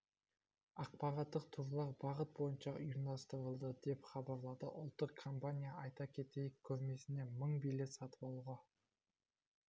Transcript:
ақпараттық турлар бағыт бойынша ұйымдастырылды деп хабарлады ұлттық компания айта кетейік көрмесіне мың билет сатып алуға